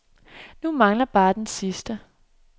Nu manglede bare den sidste.